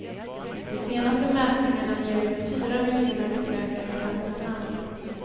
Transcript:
De senaste mätningarna ger över fyra miljoner besökare per månad.